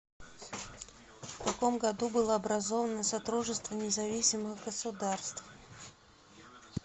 в каком году было образовано содружество независимых государств